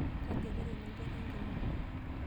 Kaji eloito ina gari enkima?